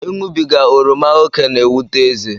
Ịṅụbiga oroma ókè na-ewute ezé